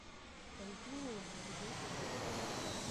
континуум эпизод сорок